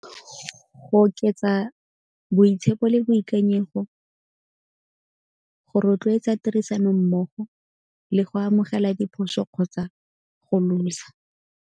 Go oketsa boitshepo le boikanyego, go rotloetsa tirisano mmogo le go amogela diphoso kgotsa go lose-a.